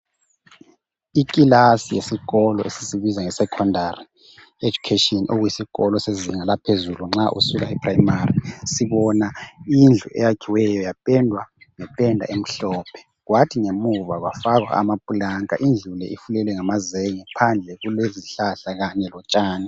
Ikilasi yesikolo esisibiza ngokuthi Yi sekhondari education okuyisikolo sezinga eliphezulu nxa usuka e primary sibona indlu eyakhiweyo yapendwa ngependa emhlophe, kwathi ngemuva kwafakwa amapulanka, indlu le ifulelwe ngamazenge phandle kulezihlahla Kanye lotshani.